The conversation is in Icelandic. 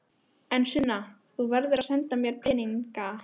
En Sunna, þú verður að senda mér peninga.